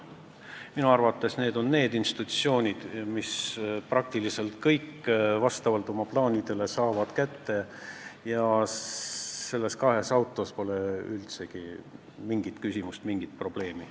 Minu arvates on need institutsioonid, mis saavad praktiliselt kogu raha vastavalt oma plaanidele kätte, ja kahes autos pole üldsegi mingit küsimust, mingit probleemi.